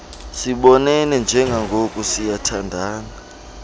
sibonene njengangoku siyathandana